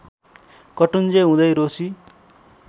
कटुञ्जे हुँदै रोशी